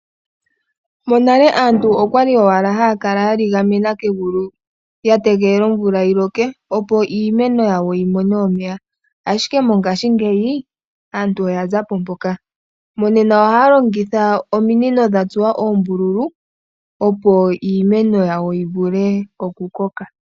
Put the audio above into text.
Monale aantu okwali owala ha ya kala ya ligamena kegulu ya tegelela omvula yi loke opo iimeno yawo yi mone omeya, ashike mongashingeyi aantu oya za po mpoka. Ngashingeyi aantu oha ya longitha ominino dha tsuwa oombululu opo iimeno yawo yi vule okukoka.